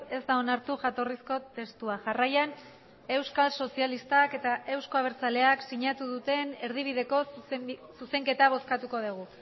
ez da onartu jatorrizko testua jarraian euskal sozialistak eta eusko abertzaleak sinatu duten erdibideko zuzenketa bozkatuko dugu